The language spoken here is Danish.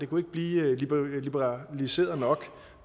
kunne blive liberaliseret nok